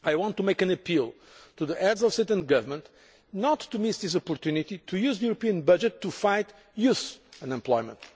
I want to make an appeal to the Heads of State and Government not to miss this opportunity of using the European budget to fight youth unemployment.